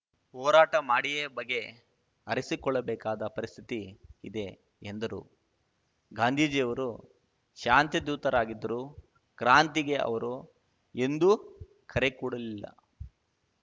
ಹೋರಾಟ ಮಾಡಿಯೇ ಬಗೆ ಹರಿಸಿಕೊಳ್ಳಬೇಕಾದ ಪರಿಸ್ಥಿತಿ ಇದೆ ಎಂದರು ಗಾಂಧೀಜಿಯವರು ಶಾಂತಿಧೂತರಾಗಿದ್ದರು ಕ್ರಾಂತಿಗೆ ಅವರು ಎಂದೂ ಕರೆಕೊಡಲಿಲ್ಲ